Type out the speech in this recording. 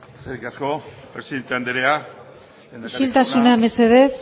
eskerrik asko presidente anderea isiltasuna mesedez